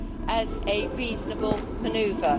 as a reasonable manoeuvre.